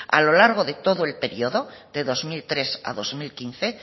a lo largo de todo el periodo de dos mil tres a dos mil quince